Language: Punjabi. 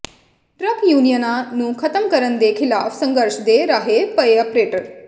ਟਰੱਕ ਯੂਨੀਅਨਾਂ ਨੂੰ ਖ਼ਤਮ ਕਰਨ ਦੇ ਿਖ਼ਲਾਫ਼ ਸੰਘਰਸ਼ ਦੇ ਰਾਹੇ ਪਏ ਆਪ੍ਰੇਟਰ